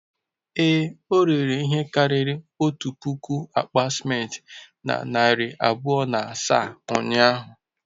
Ee, o rere ihe karịrị otu puku akpa simenti na narị abụọ na asaa ụnyahụ.